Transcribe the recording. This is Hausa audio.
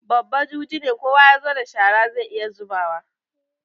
Babba juji ne, kowa ya zo da shararsa sai ya zuba.